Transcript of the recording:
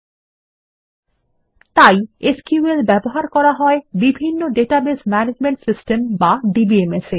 এবং তাই এটি ব্যবহার করা হয় বিভিন্ন ডাটাবেজ ম্যানেজমেন্ট সিস্টেম বা DBMS এ